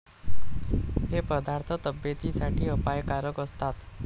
हे पदार्थ तब्येतीसाठी अपायकारक असतात.